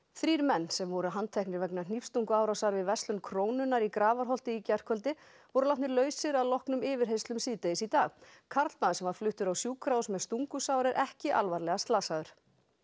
þrír menn sem voru handteknir vegna hnífstunguárásar við verslun Krónunnar í Grafarholti í gærkvöldi voru látnir lausir að loknum yfirheyrslum síðdegis í dag karlmaður sem var fluttur á sjúkrahús með stungusár er ekki alvarlega slasaður